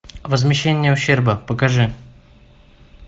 возмещение ущерба покажи